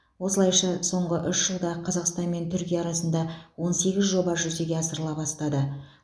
осылайша соңғы үш жылда қазақстан мен түркия арасында он сегіз жоба жүзеге асырыла бастады